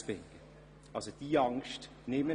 Diese Angst kann ich Ihnen somit nehmen.